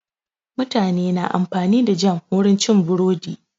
Mutane na amfani da jam wurin cin burodi.